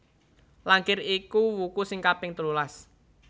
Langkir iku wuku sing kaping telulas